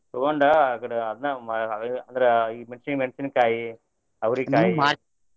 ತುಗೊಂಡ ಆಕಡೆ ಅದ್ನ ಮಾಡೋದ ಅಂದ್ರ ಈಗ ಮೆಣ್ಶಿನ್ ಮೆಣ್ಶಿನ್ಕಾಯಿ, ಅವರಿಕಾಯಿ.